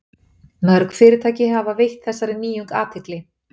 Mörg fyrirtæki hafa veitt þessari nýjung athygli.